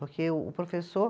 Porque o professor